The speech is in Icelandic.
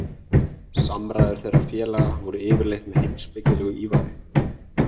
Samræður þeirra félaga voru yfirleitt með heimspekilegu ívafi.